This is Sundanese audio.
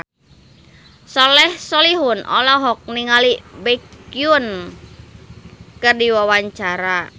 Soleh Solihun olohok ningali Baekhyun keur diwawancara